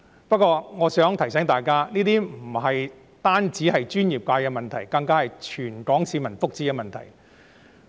不過，我想提醒大家，這不僅是專業界別的問題，更是全港市民福祉的問題。